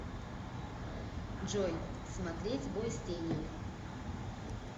джой смотреть бой с тенью